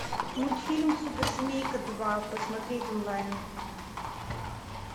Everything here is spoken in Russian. мультфильм суперсемейка два посмотреть онлайн